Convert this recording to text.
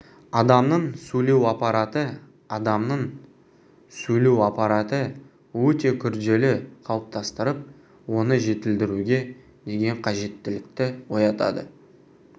адамның сөйлеу аппараты адамның сөйлеу аппараты өте күрделі қалыптастырып оны жетілдіруге деген қажеттілікті оятады